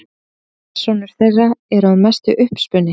Persónur þeirra eru að mestu uppspuni.